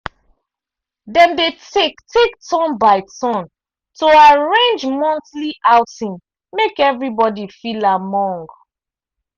dem dey take take turn by turn to arrange monthly outing make everybody feel among